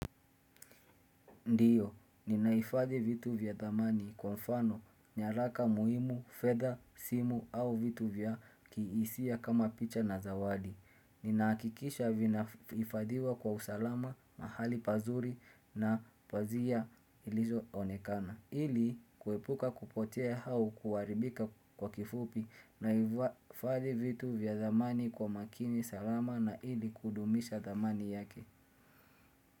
Ndiyo, ninahifadhi vitu vya thamani kwa mfano, nyaraka muhimu, fedha, simu au vitu vya kihisia kama picha na zawadi. Ninahakikisha vinaifadiwa kwa usalama, mahali pazuri na pazia ilizo onekana. Ili, kuepuka kupotea au kuharibika kwa kifupi, naifadhi vitu vya thamani kwa makini salama na ili kudumisha thamani yake.